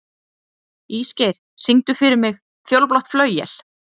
Ísgeir, syngdu fyrir mig „Fjólublátt flauel“.